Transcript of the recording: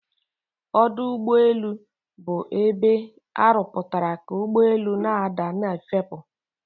Ọdọugbeelu' bụ ebe arụpụtara ka ugbọelu' na-ada na'efepu'